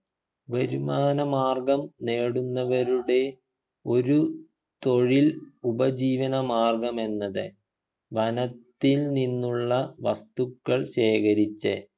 വരുമാനമാർഗം നേടുന്നവരുടെ ഒരു തൊഴിൽ ഉപജീവനമാർഗം എന്നത് വന ത്തിൽ നിന്നുള്ള വസ്തുക്കൾ ശേഖരിച്ച്